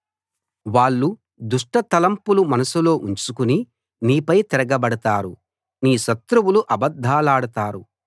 వాళ్ళు దుష్ట తలంపులు మనసులో ఉంచుకుని నీపై తిరగబడతారు నీ శత్రువులు అబద్ధాలాడతారు